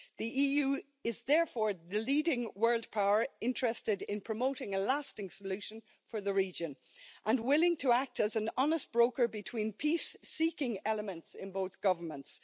The EU is therefore the leading world power interested in promoting a lasting solution for the region and willing to act as an honest broker between peace seeking elements in both governments.